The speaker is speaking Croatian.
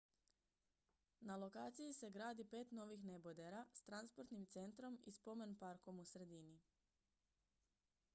na lokaciji se gradi pet novih nebodera s transportnim centrom i spomen-parkom u sredini